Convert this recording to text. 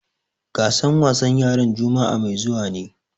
Gasar wasan yaran juma'a mai zuwa ne.